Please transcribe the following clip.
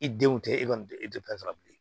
I denw tɛ e kɔni e tɛ pran bilen